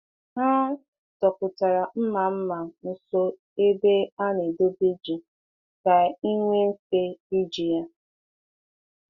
Ha dọpụtara mma mma nso ebe a na-edobe ji ka e nwee mfe iji ya.